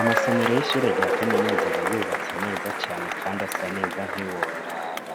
Amasomero y'ishure rya kaminuza abayubatse neza cane kandi asa neza ntiworaba.